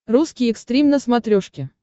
русский экстрим на смотрешке